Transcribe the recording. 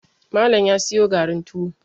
Malam ya siyo garin tuwo